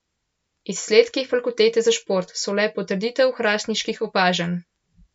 Izsledki Fakultete za šport so le potrditev hrastniških opažanj.